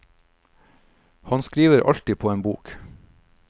Han skriver alltid på en bok.